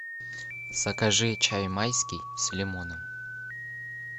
закажи чай майский с лимоном